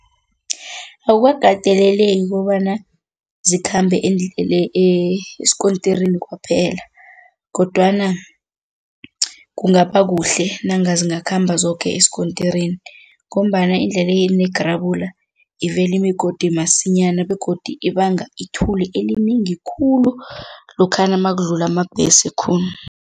Akukakateleleki kobana zikhambe esikontirini kwaphela kodwana kungaba kuhle nanga zingakhamba zoke esikontirini ngombana endleleni yegrabula ivela imigodi masinyana begodi ibanga ithuli elinengi khulu lokhana nakudlula amabhesi khulu.